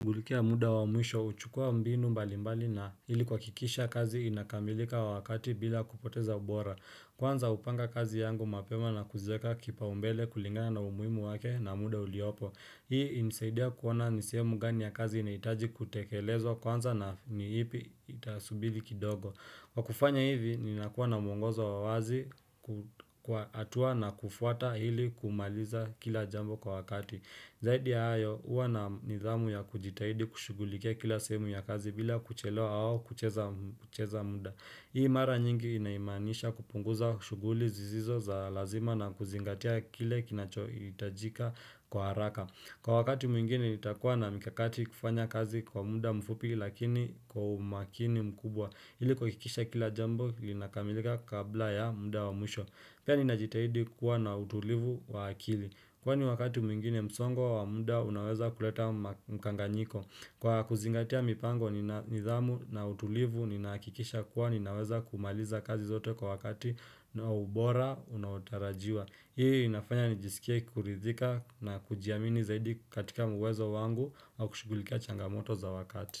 Mulikia muda wa mwisho, huchukua mbinu mbalimbali na ili kuhakikisha kazi inakamilika wakati bila kupoteza ubora. Kwanza hupanga kazi yangu mapema na kuzieka kipaumbele kulingana na umuhimu wake na muda uliopo. Hii inanisaidia kuona ni sehemu gani ya kazi inahitaji kutekelezwa kwanza na ni ipi itasubiri kidogo. Kwa kufanya hivi ninakuwa na mwongozo wa wazi kwa hatua na kufuata ili kumaliza kila jambo kwa wakati. Zaidi ya hayo, huwa na nidhamu ya kujitahidi kushugulikia kila sehemu ya kazi bila kuchelewa au kucheza muda. Hii mara nyingi inamaanisha kupunguza kushughuli zisizo za lazima na kuzingatia kile kinachohitajika kwa haraka. Kwa wakati mwingine nitakuwa na mikakati kufanya kazi kwa muda mfupi lakini kwa umakini mkubwa. Ili kuhakikisha kila jambo linakamilika kabla ya muda wa mwisho. Pia ninajitahidi kuwa na utulivu wa akili. Kwani wakati mwingine msongo wa muda unaweza kuleta mkanganyiko, Kwa kuzingatia mipango nina nidhamu na utulivu ninakikisha kuwa ninaweza kumaliza kazi zote kwa wakati na ubora unaotarajiwa, Hii inafanya nijisikie kukuridhika na kujiamini zaidi katika uwezo wangu au kushughulikia changamoto za wakati.